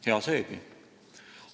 Hea seegi.